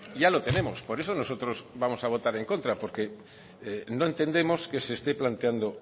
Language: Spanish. ya lo tenemos por eso nosotros vamos a votar en contra porque no entendemos que se esté planteando